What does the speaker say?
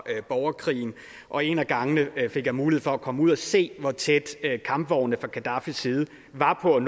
borgerkrigen og en af gangene fik jeg mulighed for at komme ud og se hvor tæt kampvognene fra gaddafis side var på at